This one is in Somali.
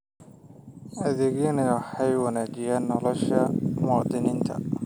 Adeegyadani waxay wanaajiyaan nolosha muwaadiniinta.